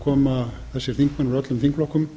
koma þessir þingmenn úr öllum þingflokkum